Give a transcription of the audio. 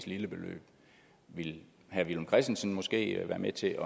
lille beløb vil herre villum christensen måske være med til